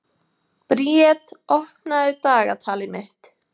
Briet, opnaðu dagatalið mitt.